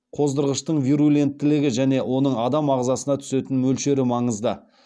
қоздырғыштың вируленттілігі және оның адам ағзасына түсетін мөлшері маңызды